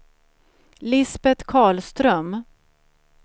Lisbeth Karlström